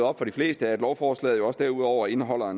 op for de fleste at lovforslaget jo også derudover indeholder